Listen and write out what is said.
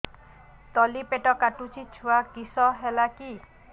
ତଳିପେଟ କାଟୁଚି ଛୁଆ କିଶ ହେଲା କି